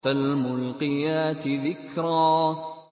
فَالْمُلْقِيَاتِ ذِكْرًا